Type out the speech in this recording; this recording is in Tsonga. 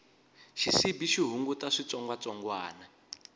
xisibi xi hunguta switsongwatsongwani